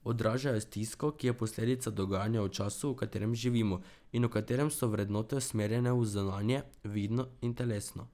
Odražajo stisko, ki je posledica dogajanj v času, v katerem živimo in v katerem so vrednote usmerjene v zunanje, vidno in telesno.